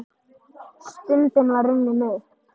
Stundin var runnin upp!